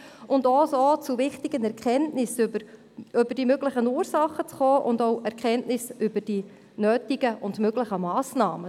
So kommt sie auch zu Erkenntnissen bezüglich der möglichen Ursachen sowie der nötigen und möglichen Massnahmen.